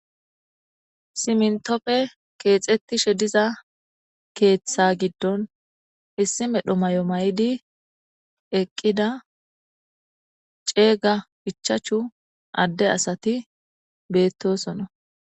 simntopfe keexettishe diza keeththa giddon issi medho mayo maydi eqqida ceega ichachu adde asati beettosona